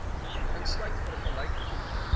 insluit vergelyk goed